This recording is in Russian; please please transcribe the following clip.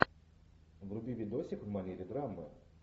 вруби видосик в манере драмы